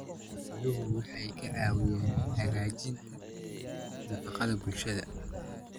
Xooluhu waxay caawiyaan hagaajinta nafaqada bulshada.